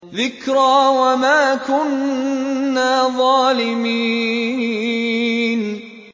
ذِكْرَىٰ وَمَا كُنَّا ظَالِمِينَ